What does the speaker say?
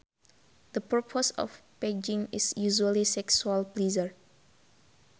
The purpose of pegging is usually sexual pleasure